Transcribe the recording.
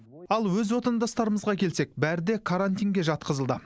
ал өз отандастарымызға келсек бәрі де карантинге жатқызылды